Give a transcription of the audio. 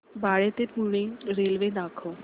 बाळे ते पुणे रेल्वे दाखव